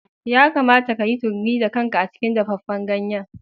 Ya kamata ka yi tururi da kanka a cikin dafaffen ganye.